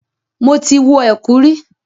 Mo ti wọ ẹ̀kú rí.